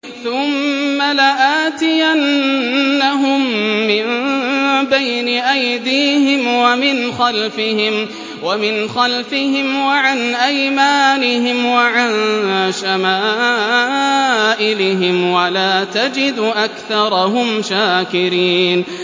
ثُمَّ لَآتِيَنَّهُم مِّن بَيْنِ أَيْدِيهِمْ وَمِنْ خَلْفِهِمْ وَعَنْ أَيْمَانِهِمْ وَعَن شَمَائِلِهِمْ ۖ وَلَا تَجِدُ أَكْثَرَهُمْ شَاكِرِينَ